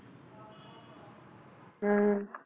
ਹਮ